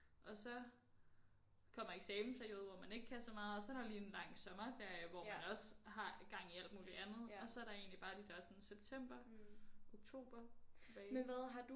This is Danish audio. Og så kommer eksamensperiode hvor man ikke kan så meget og så er der lige en lang sommerferie hvor man også har gang i alt muligt andet og så er der egentlig bare de der sådan september oktober tilbage